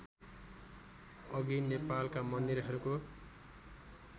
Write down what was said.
अघि नेपालका मन्दिरहरूको